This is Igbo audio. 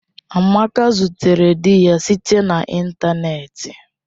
Amaka zutere di ya site na ịntanetị.